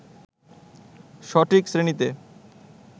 সঠিক শ্রেণিতে